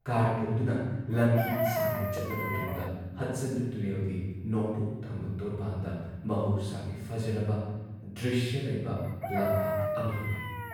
Car ꯇꯣꯡꯗꯨꯅ ꯂꯝꯕꯤ ꯁꯥꯡꯅ ꯆꯠꯂꯕ ꯇꯨꯡꯗ ꯍꯗꯁꯟ ꯇꯨꯔꯦꯜꯒꯤ ꯅꯣꯡꯄꯣꯛꯊꯪꯕ ꯇꯣꯔꯕꯥꯟꯗ ꯃꯍꯧꯁꯥꯒꯤ ꯐꯖꯔꯕ ꯗ꯭ꯔꯤꯁ꯭ꯌ ꯂꯩꯕ ꯂꯝꯄꯥꯛ ꯑꯃ ꯌꯧꯔꯦ ꯫